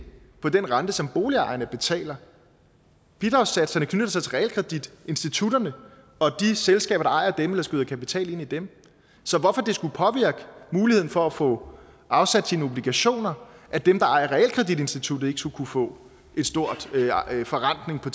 på den rente som boligejerne betaler bidragssatserne knytter sig til realkreditinstitutterne og de selskaber der ejer dem eller skyder kapital ind i dem så hvorfor det skulle påvirke muligheden for at få afsat sine obligationer at dem der ejer realkreditinstituttet ikke skulle kunne få en stor forrentning på